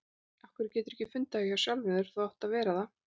Af hverju geturðu ekki fundið það hjá sjálfum þér að þú átt að vera það?